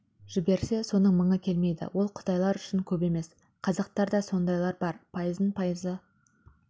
жіберсе соның мыңы келмейді ол қытай үшін көп емес қазақтарда да сондайлар бар пайыздың пайызы